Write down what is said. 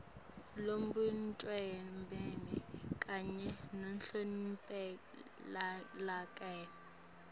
lobumbene kanye nalophumelelako